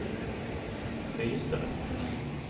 høyesterett